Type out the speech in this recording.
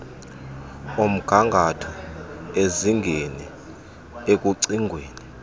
omgangatho ezingene ekucingweni